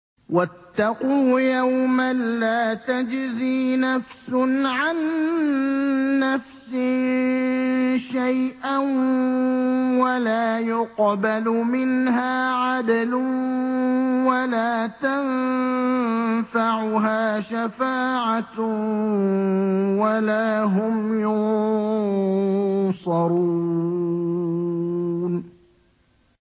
وَاتَّقُوا يَوْمًا لَّا تَجْزِي نَفْسٌ عَن نَّفْسٍ شَيْئًا وَلَا يُقْبَلُ مِنْهَا عَدْلٌ وَلَا تَنفَعُهَا شَفَاعَةٌ وَلَا هُمْ يُنصَرُونَ